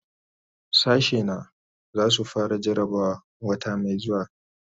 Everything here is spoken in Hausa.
Sashena zai su fara jarabawa wata mai zuwa.